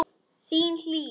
Þín, Hlíf.